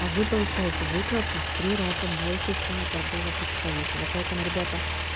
а вы получаете выплату в три раза больше чем у торгового представителя поэтому ребята